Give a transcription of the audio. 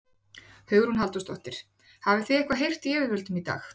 Hugrún Halldórsdóttir: Hafið þið eitthvað heyrt í yfirvöldum í dag?